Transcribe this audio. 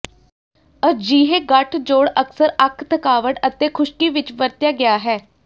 ਅਜਿਹੇ ਗੱਠਜੋੜ ਅਕਸਰ ਅੱਖ ਥਕਾਵਟ ਅਤੇ ਖੁਸ਼ਕੀ ਵਿੱਚ ਵਰਤਿਆ ਗਿਆ ਹੈ